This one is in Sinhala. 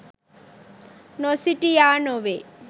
නොසිටියා නොවේ.